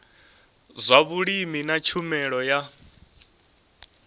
zwa vhulimi na tshumelo ya